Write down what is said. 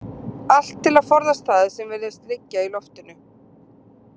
Allt til að forðast það sem virðist liggja í loftinu.